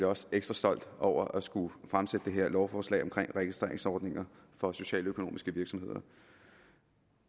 også ekstra stolt over at skulle fremsætte det her lovforslag om registreringsordninger for socialøkonomiske virksomheder